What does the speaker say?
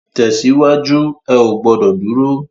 Tèsiwájú, è ó gbòdò dúró